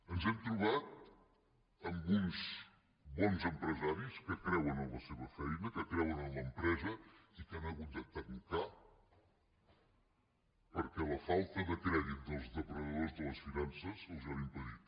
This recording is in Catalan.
ens hem trobat amb uns bons empresaris que creuen en la seva feina que creuen en l’empresa i que han hagut de tancar perquè la falta de crèdit dels depredadors de les finances els ho han impedit